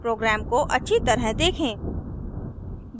programme को अच्छी तरह देखें